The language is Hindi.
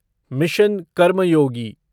मिशन कर्मयोगी